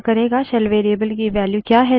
यह वर्त्तमान shell का name संग्रह करेगा